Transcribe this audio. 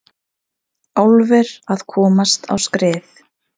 Álver að komast á skrið